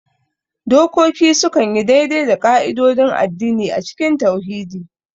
Dokoki sukan yi daidai da ƙa'idodin addini a cikin tauhidi.